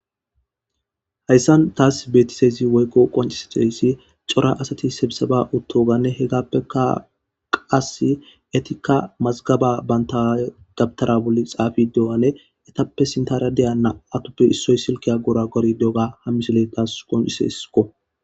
hayssan taas betiseyzi woykko qoncisedeysi cora asati sebisaba uttoganne hegappeka qas etikka mazgaba banta gabtara bolli xaafi deoane etappe sintaradeya na atoppe issoy silkiya gora gori diyoga ha misiley taas qonciseskko